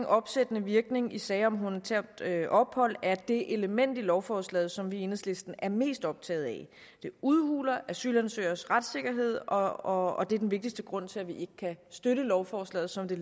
opsættende virkning i sager om humanitært ophold er det element i lovforslaget som vi i enhedslisten er mest optaget af det udhuler asylansøgeres retssikkerhed og og det er den vigtigste grund til at vi ikke kan støtte lovforslaget som det